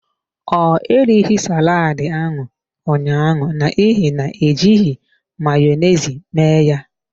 Ọ erighi saladi ahụ ụnyaahụ n’ihi na ejighị Mayonezi me ya.